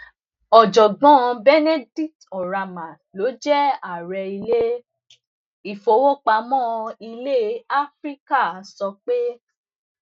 ọ̀jọ̀gbọ́n ọn benedict oramah tó jé ààrẹ ilé ìfowópamó ilè áfíríkà sọ pé